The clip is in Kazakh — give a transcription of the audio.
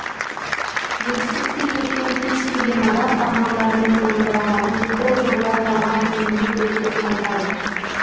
жетістікке жеткен кез келген адам армандарының орындалғанын ол жолда талмай еңбек еткенін айтады